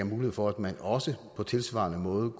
mulighed for at man også på tilsvarende måde